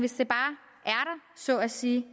så at sige